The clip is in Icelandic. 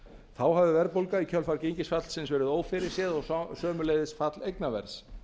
þá hafi verðbólga í kjölfar gengisfallsins verið ófyrirséð og sömuleiðis fall eignaverðs